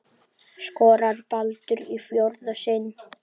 Skorar Baldur í fjórða sinn?